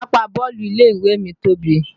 Pápá bọ́ọ̀lù ilé ìwé mi tóbi